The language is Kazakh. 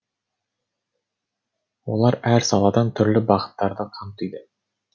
олар әр саладан түрлі бағыттарды қамтиды